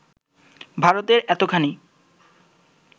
ভারতের এতোখানি